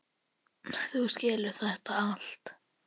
Þú skilur þetta allt.